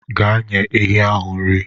Gaa nye ehi ahụ nri.